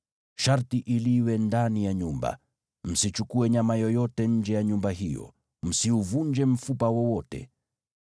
“Sharti iliwe ndani ya nyumba; msichukue nyama yoyote nje ya nyumba hiyo. Msiuvunje mfupa wowote.